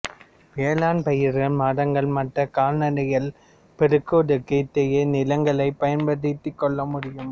வேளாண்பயிர்கள் மரங்கள் மற்றும் கால்நடைகளைப் பெருக்குவதற்கு இத்தகைய நிலங்களைப் பயன்படுத்திக் கொள்ள முடியும்